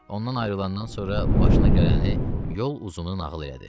Ondan ayrılandan sonra başına gələni yol uzumu nağıl elədi.